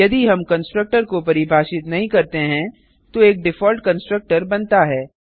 यदि हम कंस्ट्रक्टर को परिभाषित नहीं करते हैं तो एक डिफॉल्ट कंस्ट्रक्टर बनता है